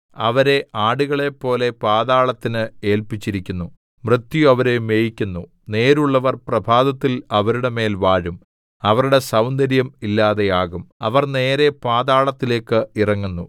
അവരെ ആടുകളെപ്പോലെ പാതാളത്തിന് ഏല്പിച്ചിരിക്കുന്നു മൃത്യു അവരെ മേയിക്കുന്നു നേരുള്ളവർ പ്രഭാതത്തിൽ അവരുടെ മേൽ വാഴും അവരുടെ സൗന്ദര്യം ഇല്ലാതെയാകും അവര്‍ നേരെ പാതാളത്തിലേക്ക്‌ ഇറങ്ങുന്നു